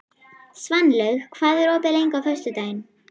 Svanlaug, hvað er opið lengi á föstudaginn?